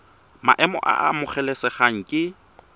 maemo a a amogelesegang ke